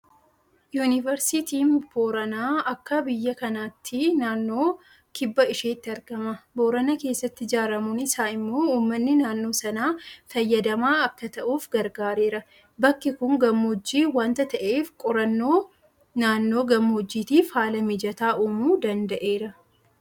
Yuunivarsiitiin Booranaa akka biyya kanaatti naannoo kibba isheetti argama. Boorana keessatti ijaaramuun isaa immoo uummanni naannoo sanaa fayyadamaa akka ta'uuf gargaareera. Bakki kun gammoojji waanta ta'eef qorannoo naannoo gammoojjiitiif haala mijataa uumuu danda'eera.